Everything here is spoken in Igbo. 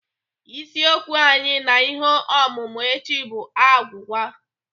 Isiokwu anyị na ihe ọmụmụ echi bụ agwụgwa.